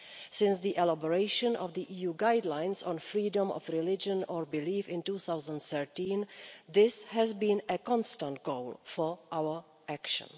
Since the elaboration of the EU Guidelines on freedom of religion or belief in 2013, this has been a constant goal for our action.